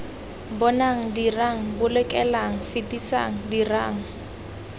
bonang dirang bolokelang fetisang dirang